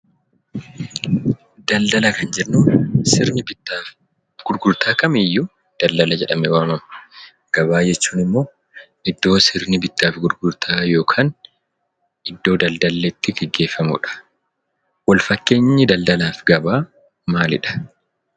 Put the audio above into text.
Daldalaaf jennu, Sirni bittaafi gurgurtaa kamiyyuu daldala jedhamee waamama. Gabaa jechuun ammoo iddoo sirni bittaa fi gurgurtaa yookaan iddoo daldalli itti geggeeffamudha. Wal fakkeenyi daldalaa fi gabaa maalidha?